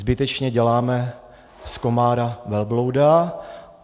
Zbytečně děláme z komára velblouda.